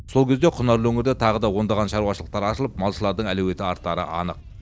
сол кезде құнарлы өңірде тағы да ондаған шаруашалықтар ашылып малшылардың әлеуеті артары анық